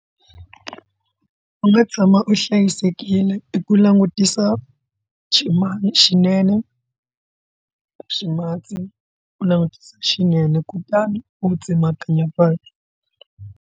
U nga tshama u hlayisekile i ku langutisa xixima xinene ximatsi u langutisa xinene kutani u tsemakanya vanhu.